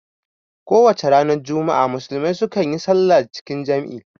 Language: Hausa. Kowacce ranar juma'a musulmai su kan yi salla cikin jam'i